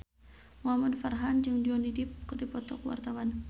Muhamad Farhan jeung Johnny Depp keur dipoto ku wartawan